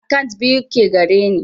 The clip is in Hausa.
Akant biyu ke gareni